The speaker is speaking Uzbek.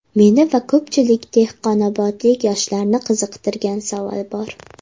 Meni va ko‘pchilik dehqonobodlik yoshlarni qiziqtirgan savol bor.